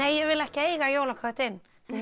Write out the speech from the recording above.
ég vil ekki eiga jólaköttinn